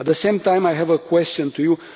At the same time, I have a question for you.